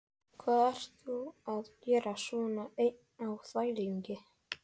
Hvað ert þú að gera svona einn á þvælingi?